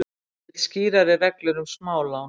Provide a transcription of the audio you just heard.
Vill skýrari reglur um smálán